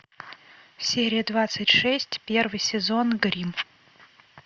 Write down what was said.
серия двадцать шесть первый сезон гримм